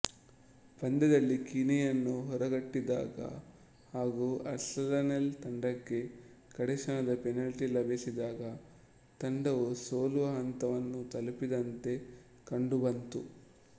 ಪಂದ್ಯದಲ್ಲಿ ಕೀನೆಯನ್ನು ಹೊರಗಟ್ಟಿದಾಗ ಹಾಗೂ ಆರ್ಸೆನಲ್ ತಂಡಕ್ಕೆ ಕಡೆಕ್ಷಣದ ಪೆನಾಲ್ಟಿ ಲಭಿಸಿದಾಗ ತಂಡವು ಸೋಲುವ ಹಂತವನ್ನು ತಲುಪಿದಂತೆ ಕಂಡುಬಂತು